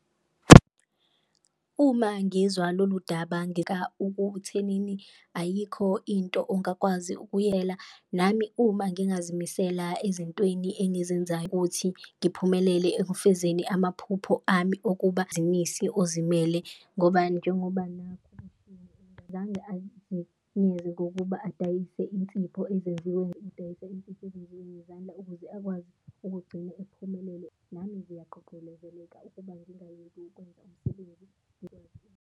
Uma ngizwa lolu daba ekuthenini ayikho into ongakwazi ukuyela, nami uma ngingazimisela ezintweni engizenzayo ukuthi ngiphumelele ekufezeni amaphupho ami okuba ozimele. Ngoba njengoba nakhu azange azenyenze ngokuba adayise insipho ezenziwe adayise insipho ezenziwe ngezandla, ukuze akwazi ukugcine ephumelele nami ngiyagqugqulezeleka ukuba ngingayeki ukwenza umsebenzi .